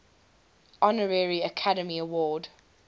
honorary academy award